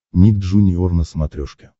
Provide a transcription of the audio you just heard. ник джуниор на смотрешке